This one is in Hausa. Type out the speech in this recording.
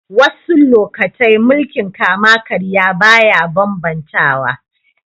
Wassu lokatai mulki'n kama-karya baya ban-bantawa.